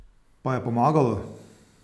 Pa je pomagalo?